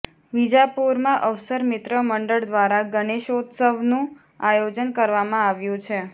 વિજાપુરમાં અવસર મિત્ર મંડળ દ્વારા ગણેશોત્સવનુ આયોજન કરવામાં આવ્યુ છે